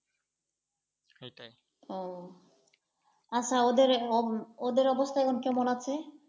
হম আচ্ছা ওদের , ওদের অবস্থা এখন কেমন আছে।